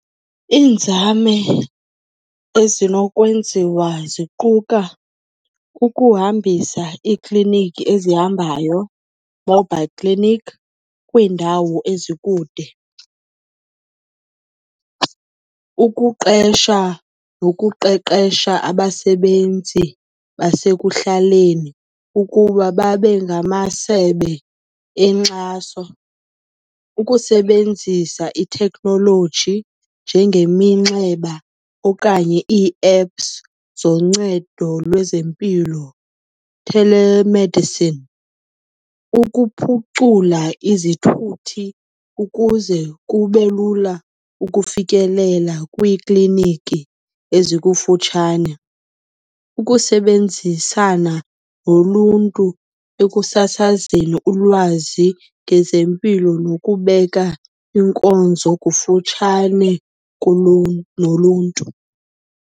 Iinzame ezinokwenziwa ziquka ukuhambisa iikliniki ezihambayo, mobile clinic, kwiindawo ezikude. Ukuqesha nokuqeqesha abasebenzi basekuhlaleni ukuba babengamasebe enkxaso. Ukusebenzisa itheknoloji njengeminxeba okanye ii-apps zoncedo lwezempilo, telemedicine. Ukuphucula izithuthi ukuze kube lula ukufikelela kwiikliiniki ezikufutshane. Ukusebenzisana noluntu ekusasazeni ulwazi ngezempilo nokubeka iinkonzo kufutshane noluntu.